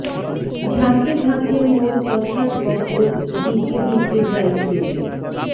ঝাঁকে ঝাঁকে মোর কথার কপোত দিকে দিকে যায় ছুটে